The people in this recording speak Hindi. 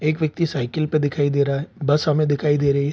एक व्यक्ति साइकिल पे दिखाई दे रहा है बस हमें दिखाई दे रही है।